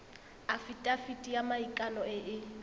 afitafiti ya maikano e e